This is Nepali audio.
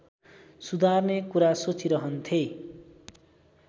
सुधार्ने कुरा सोचिरहन्थे